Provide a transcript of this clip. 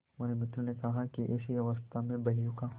हमारे मित्र ने कहा कि ऐसी अवस्था में बहियों का